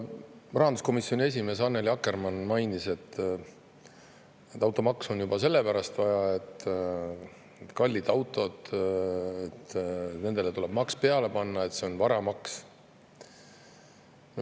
Täna rahanduskomisjoni esimees Annely Akkermann mainis, et automaksu on juba sellepärast vaja, et kallitele autodele tuleb maks peale panna, et see on varamaks.